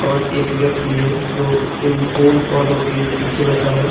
और एक व्यक्ति है जो इन फूल-पौधों के पीछे बैठा है।